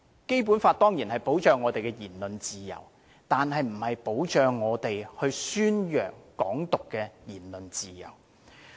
《基本法》當然保障我們的言論自由，但並不保障我們宣揚"港獨"的言論自由。